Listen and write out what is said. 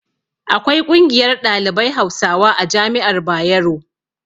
Akwai ƙungiyar ɗalibai hausawa a jami'ar bayero